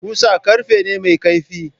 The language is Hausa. Kusa ƙarfe ne mai kaifi.